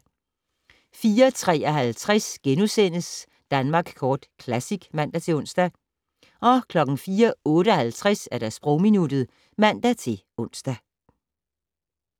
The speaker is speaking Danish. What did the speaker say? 04:53: Danmark Kort Classic *(man-ons) 04:58: Sprogminuttet (man-ons)